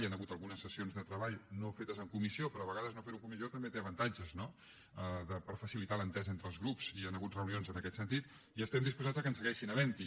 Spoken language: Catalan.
hi han hagut algunes sessions de treball no fetes en comissió però a vegades no fer ho en comissió també té avantatges no per facilitar l’entesa entre els grups i hi han hagut reunions en aquest sentit i estem disposats que segueixin havent n’hi